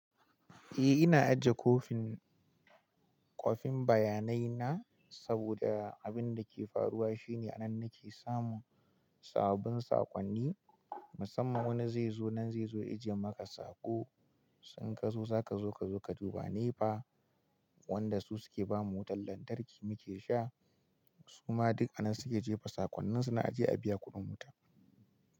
Eh ina ajiye kwafin kofin bayanai na saboda abin da ke faruwa shine anan nake samun sababbin sakonni, musamman wanda zai zo nan zai zo ya jiya maka sako. To inkazo zaka zonka duba nne fa wanda su suke ba mu wutar lantarki muke sha. Kuma duk anan suke jefa sakon ninsu dlna aje a biya kudin wuta.